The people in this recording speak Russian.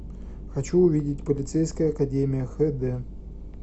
хочу увидеть полицейская академия хэ дэ